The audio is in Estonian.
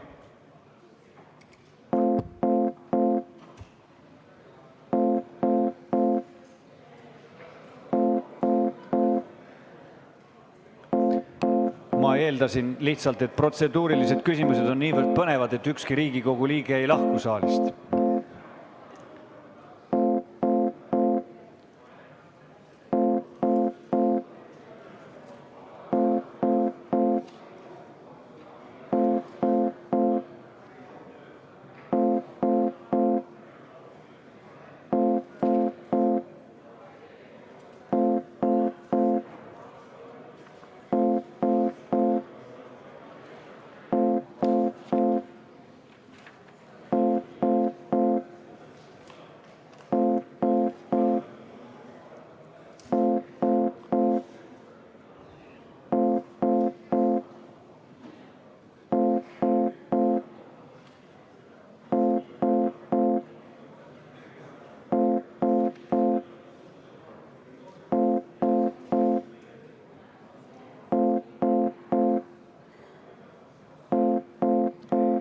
Ma lihtsalt eeldasin, et protseduurilised küsimused on niivõrd põnevad, et ükski Riigikogu liige ei lahku saalist.